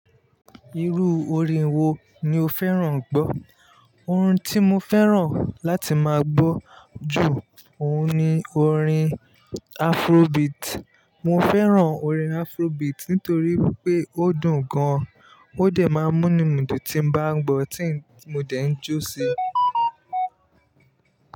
Irú orin wo ni o fẹ́ràn gbọ́? Orin tí mo fẹ́ràn láti máa gbọ́ jù ọ̀un ni orin Afrobeat. Mo fẹ́ràn orin Afrobeat nítorí pé ó dùn gan-an, ó dẹ̀ máa ń m'únu mí dùn tí mo bá ń gbọ́, tí mo dẹ̀ ń jó sí i.